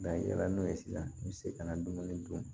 i yɛlɛla n'o ye sisan i bɛ se ka na dumuni dun